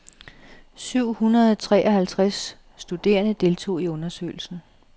Syv hundrede treoghalvtreds studerende deltog i undersøgelsen.